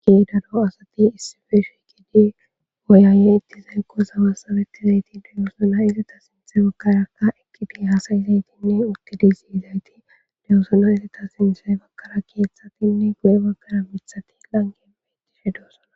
Keedado asati issifeshikidi oyaaye ittizaykko zawa sabetizayti deyosona izita sinthe bakkaraka ekipi hasayizaytinne oke diziizayti dewosona izita sinte bakkara keeththatinne gu'e baggara mithati langepe idishe doosana.